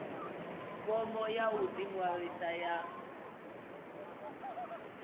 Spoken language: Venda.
fomo ya u ḓiṅwalisa ya